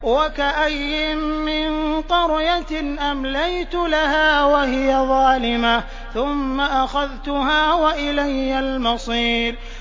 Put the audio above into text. وَكَأَيِّن مِّن قَرْيَةٍ أَمْلَيْتُ لَهَا وَهِيَ ظَالِمَةٌ ثُمَّ أَخَذْتُهَا وَإِلَيَّ الْمَصِيرُ